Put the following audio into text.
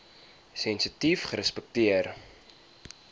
sensitiefrespekteer